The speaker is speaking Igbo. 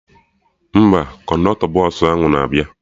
Mba, kọndọktọ bọsụ ahụ na-abịa